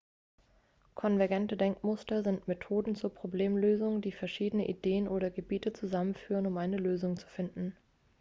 konvergente denkmuster sind methoden zur problemlösung die verschiedene ideen oder gebiete zusammenführen um eine lösung zu finden